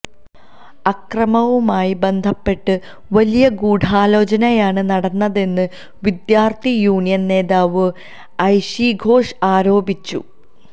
അക്രമവുമായി ബന്ധപ്പെട്ട് വലിയ ഗൂഢാലോചനയാണ് നടന്നതെന്ന് വിദ്യാർത്ഥി യൂണിയന് നേതാവ് ഐഷി ഘോഷ് ആരോപിച്ചു